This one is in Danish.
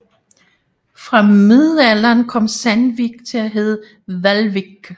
Fra middelalderen kom Sandvík til at hedde Hvalvík